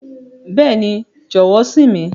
Bẹẹni, jọwọ sìn mi.